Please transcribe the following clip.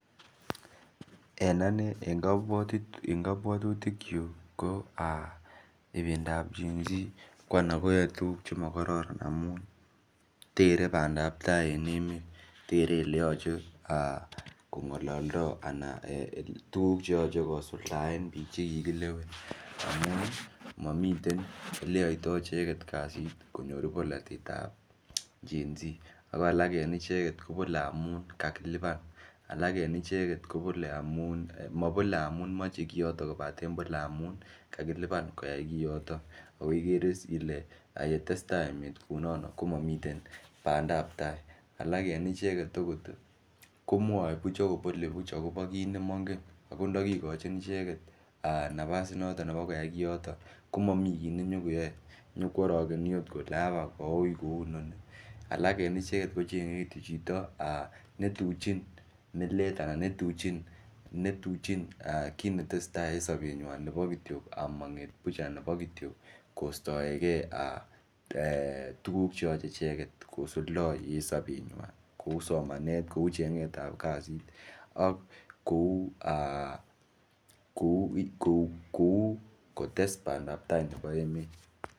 En anee en kapwotutik kyuuk koo aah ibindab GEN-Z ko anan koyoe tuguuk chegororon amuun tere bandaab tai en emet tere eleyoche kongolodoo anan tuguuk cheyoche kosuldaen biik chegigilewen amun momii eleyoitoo ichegek kasiit konyoor bolotet ab GEN-Z ago alak en icheget kobole amuun kagilibaan, alaak en icheget kobole amuun, mabole amuun moche kiyoton kobateen boole amuun kagilibaan koyaai kiyotoon, ago igere iiss ile yetestai emeet kounoon komomiten bandaabtai, alaak en icheget ogoot iih komwoe buuch ak kobole buuch en kiit nemongeen ago ndogigochin ichegeet nafaas inoton nebo koyaai kiyooton komomii kiit nenyagoyoe ,nyokworogeni oot kole abaak kouun koou inoni, alak en icheget kocheng'e kityo chito netuchin mileet alaan netuchin kiit netesetai en sobenywaan nebo kityo omongeet buuch anan nebo kityo kostoegee tuguuk cheoche icheget kosuldoo wn sobenywaan kouu somaneet kouu chengeet ab kasiit ak kouu um aah [um} kotes bandaab tai nebo emet.